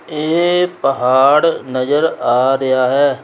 ਇਹ ਪਹਾੜ ਨਜ਼ਰ ਆ ਰਿਹਾ ਹੈ।